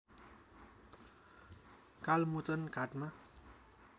कालमोचन घाटमा